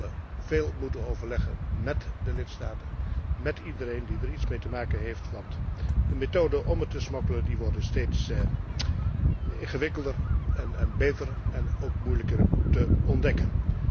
Wij zullen veel moeten overleggen, met de lidstaten, met iedereen die er iets mee te maken heeft, want de methoden om te smokkelen, worden steeds ingewikkelder en beter en ook moeilijker te ontdekken.